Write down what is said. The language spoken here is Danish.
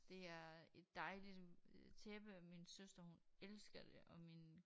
Det er et dejligt øh tæppe min søster hun elsker det og min